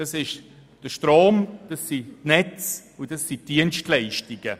Es sind dies der Strom, die Netze und die Dienstleistungen.